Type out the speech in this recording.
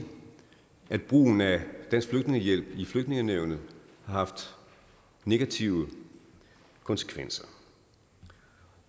at brugen af dansk flygtningehjælp i flygtningenævnet har haft negative konsekvenser